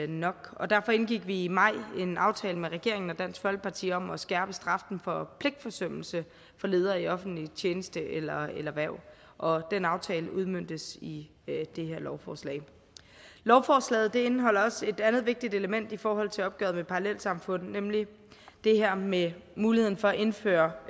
nok og derfor indgik vi i maj en aftale med regeringen og dansk folkeparti om at skærpe straffen for pligtforsømmelse for ledere i offentlig tjeneste eller eller hverv og den aftale udmøntes i det her lovforslag lovforslaget indeholder også et andet vigtigt element i forhold til opgøret med parallelsamfund nemlig det her med muligheden for at indføre